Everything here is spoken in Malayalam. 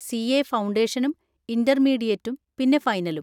സി. എ ഫൗണ്ടേഷനും ഇന്‍റർമീഡിയേറ്റും പിന്നെ ഫൈനലും.